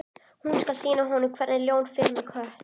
Hún skal sýna honum hvernig ljón fer með kött.